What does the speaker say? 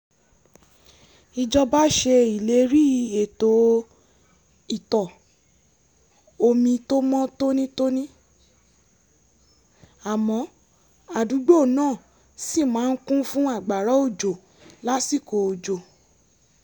ìjọba ṣe ìlérí ètò ìtọ̀-omi tó mọ́ tónítóní àmọ́ àdúgbò náà ṣì máa ń kún fún àgbàrá òjò lásìkò òjò